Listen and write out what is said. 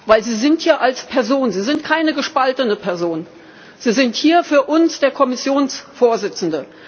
Denn Sie sind hier als Person, Sie sind keine gespaltene Person, Sie sind hier für uns der Kommissionspräsident.